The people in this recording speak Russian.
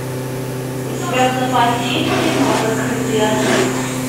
у тебя в запасе есть кино закрытый архив